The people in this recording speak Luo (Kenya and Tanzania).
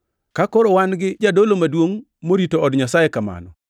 Ka koro wan gi jadolo maduongʼ morito od Nyasaye kamano,